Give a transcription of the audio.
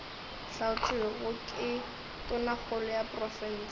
hlaotšwego ke tonakgolo ya profense